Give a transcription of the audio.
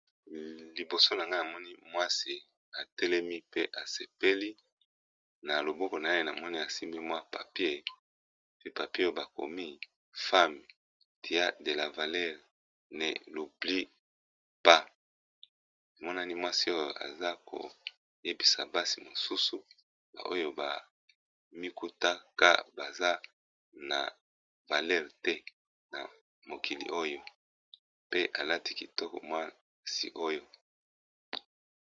Liboso na nga amoni mwasi atelemi pe asepeli na loboko na ye na moni asimbi mwa papier pi papier bakomi femme dia de la valere ne loubli pa monani mwasi oyo aza koyebisa basi mosusu baoyo bamikutaka baza na valere te na mokili oyo pe alati kitoko mwasi oyo.